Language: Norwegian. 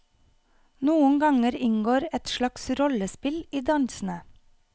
Noen ganger inngår et slags rollespill i dansene.